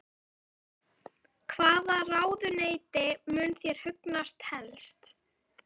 Kristján Már: Hvaða ráðuneyti mun þér hugnast helst?